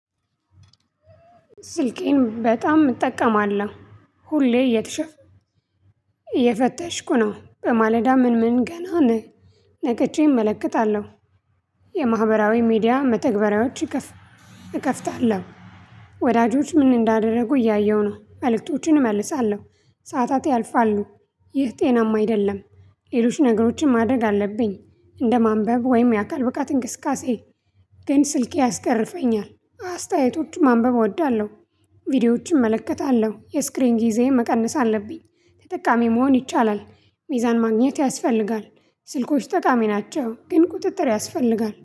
ስልኬን በጣም እጠቀማለሁ። ሁሌ እየተሸፍ እየፈተሽኩ ነው በማለዳ ምን ምን ገና ነቀቼ እመለከታለሁ። የማህበራዊ ሚዲያ መተግበሪያዎች እከፍ እከፍታለሁ ወዳጆች ምን እንዳደረጉ እያየሁ ነው መልእክቶቹን እመልሳለሁ። ሰዓታት ያልፋሉ። ይህ ጤናማ አይደለም። ሌሎች ነገሮችን ማድረግ አለብኝ። እንደ ማንበብ ወይም የአካል ብቃት እንቅስቃሴ ግን ስልኬ ያስገርፈኛል አስተያየቶችን ማንበብ እወዳለሁ። ቪዲዮዎችን እመለከታለሁ የስክሪን ጊዜዬን መቀነስ አለብኝ። ተጠቃሚ መሆን ይቻላል። ሚዛን ማግኘት ያስፈልጋል። ስልኮች ጠቃሚ ናቸው ግን ቁጥጥር ያስፈልጋል